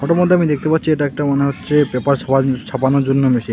ফটোর মধ্যে আমি দেখতে পাচ্ছি এটা একটা মনে হচ্ছে পেপার ছা-ছাপানোর জন্য মেশিন .